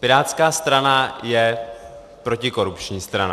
Pirátská strana je protikorupční strana.